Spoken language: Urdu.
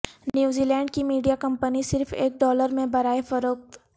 نیوزی لینڈ کی میڈیا کمپنی صرف ایک ڈالر میں برائے فروخت